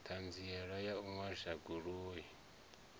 ṱhanziela ya u ṅwalisa goloi